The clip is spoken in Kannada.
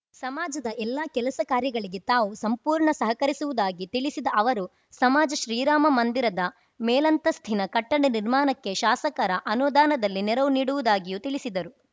ಸಮಾಜದ ಎಲ್ಲ ಕೆಲಸ ಕಾರ್ಯಗಳಿಗೆ ತಾವು ಸಂಪೂರ್ಣ ಸಹಕರಿಸುವುದಾಗಿ ತಿಳಿಸಿದ ಅವರು ಸಮಾಜ ಶ್ರೀರಾಮ ಮಂದಿರದ ಮೇಲಂತಸ್ಥಿನ ಕಟ್ಟಡ ನಿರ್ಮಾಣಕ್ಕೆ ಶಾಸಕರ ಅನುದಾನದಲ್ಲಿ ನೆರವು ನೀಡುವುದಾಗಿಯೂ ತಿಳಿಸಿದರು